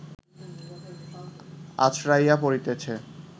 আছড়াইয়া পড়িতেছে